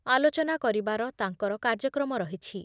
ଆଲୋଚନା କରିବାର ତାଙ୍କର କାର୍ଯ୍ୟକ୍ରମ ରହିଛି ।